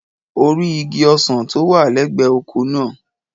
O rí igi ọsàn tó wà lẹ́gbẹ̀ẹ́ oko náà.